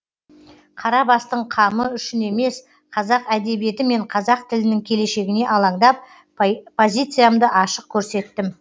қара бастың қамы үшін емес қазақ әдебиеті мен қазақ тілінің келешегіне алаңдап позициямды ашық көрсеттім